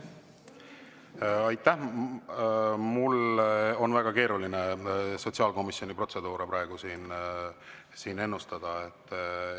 Mul on praegu väga keeruline sotsiaalkomisjoni protseduuri siin ennustada.